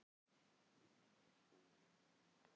Eru þeir hræddir við drykkjuna hjá mér?